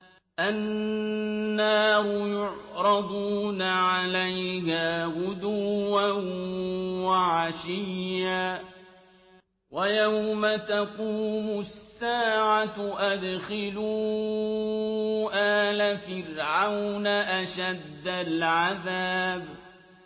النَّارُ يُعْرَضُونَ عَلَيْهَا غُدُوًّا وَعَشِيًّا ۖ وَيَوْمَ تَقُومُ السَّاعَةُ أَدْخِلُوا آلَ فِرْعَوْنَ أَشَدَّ الْعَذَابِ